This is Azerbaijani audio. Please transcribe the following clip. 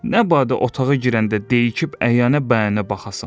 Nə badə otağa girəndə deyib-fikirləşib əyənə-bəyənə baxasan.